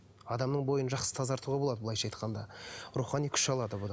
адамның бойын жақсы тазартуға болады былайша айтқанда рухани күш алады